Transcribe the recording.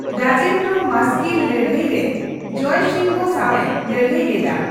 ᱨᱟᱡᱮᱱᱫᱨᱚ ᱢᱟᱥᱠᱤᱨ ᱞᱟᱹᱲᱦᱟᱹᱭ ᱨᱮ ᱡᱚᱭᱥᱤᱝᱦᱚ ᱥᱟᱣᱮ ᱞᱟᱹᱲᱦᱟᱹᱭ ᱞᱮᱫᱟ ᱾